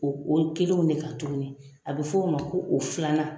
O o kelenw de kan tuguni, a bɛ f'o de ma ko o filanan.